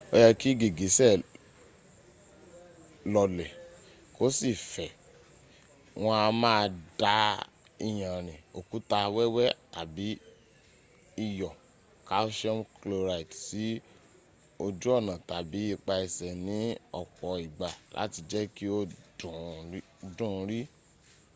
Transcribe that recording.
ó yẹ́ kí gìgísẹ̀ lọlẹ̀ kó sì fẹ̀. wọn a máa da iyanrìn òkúta wẹ́wẹ́ tàbí iyọ̀ calcium chloride sí ojú ọnà tàbí ipa ẹsẹ̀ ní ọ̀pọ̀ ìgbà láti jẹ́ kí ó dùn ún rì